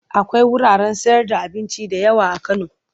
Akwai wuraren sayarda abinci da yawa a Kano.